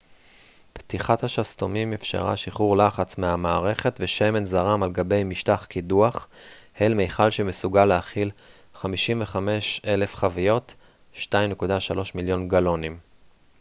פתיחת השסתומים אפשרה שחרור לחץ מהמערכת ושמן זרם על גבי משטח קידוח אל מיכל שמסוגל להכיל 55,000 חביות 2.3 מיליון גלונים